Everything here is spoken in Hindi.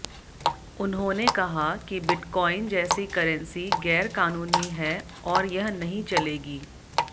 उन्होंने कहा कि बिटकॉइन जैसी करेंसी गैरकानूनी है और यह नहीं चलेगी